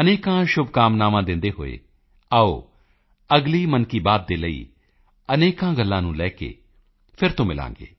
ਅਨੇਕਾਂ ਸ਼ੁਭਕਾਮਨਾਵਾਂ ਦਿੰਦੇ ਹੋਏ ਆਓ ਅਗਲੀ ਮਨ ਕੀ ਬਾਤ ਦੇ ਲਈ ਅਨੇਕਾਂ ਗੱਲਾਂ ਨੂੰ ਲੈ ਕੇ ਫਿਰ ਤੋਂ ਮਿਲਾਂਗੇ